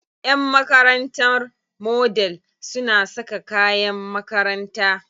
Ƴan makarantar Model suna saka kayan makaranta.